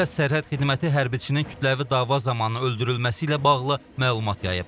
Dövlət Sərhəd Xidməti hərbiçisinin kütləvi dava zamanı öldürülməsi ilə bağlı məlumat yayıb.